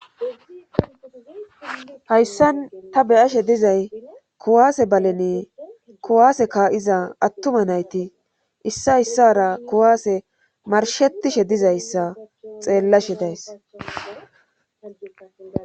hayssan ta beyashe dizay kuwaase baleni kuwaase ka7iza attuma nayti issa issara kuwaase marshetishe dizayssa xeellashe days